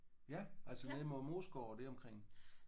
Ja altså ned mod Moesgaard og deromkring?